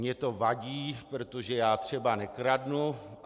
Mně to vadí, protože já třeba nekradu.